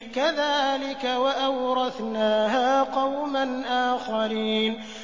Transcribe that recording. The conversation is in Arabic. كَذَٰلِكَ ۖ وَأَوْرَثْنَاهَا قَوْمًا آخَرِينَ